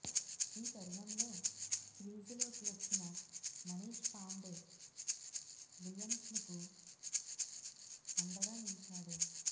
ఈ తరుణంలో క్రీజులోకి వచ్చిన మనీష్ పాండే విలియమ్సన్కు అండగా నిలిచాడు